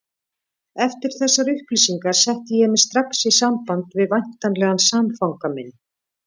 Eftir þessar upplýsingar setti ég mig strax í samband við væntanlegan samfanga minn.